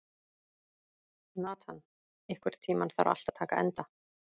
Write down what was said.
Nathan, einhvern tímann þarf allt að taka enda.